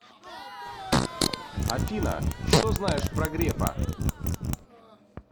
афина что знаешь про грефа